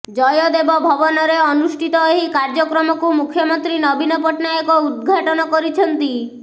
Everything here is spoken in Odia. ଜୟଦେବ ଭବନରେ ଅନୁଷ୍ଠିତ ଏହି କାର୍ଯ୍ୟକ୍ରମକୁ ମୁଖ୍ୟମନ୍ତ୍ରୀ ନବୀନ ପଟ୍ଟନାୟକ ଉଦ୍ଘାଟନ କରିଛନ୍ତି